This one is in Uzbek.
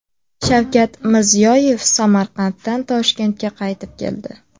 Shavkat Mirziyoyev Samarqanddan Toshkentga qaytib keldi.